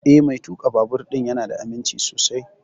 Eh, Mai tuƙa babur ɗin ya na da aminci sosai